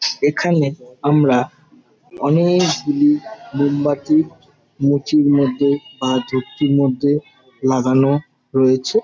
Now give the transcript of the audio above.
এখানে আমরা অ-নে-ক গুলি মোমবাতি মুচির মধ্যে বা ধূপচির মধ্যে লাগানো রয়েছে ।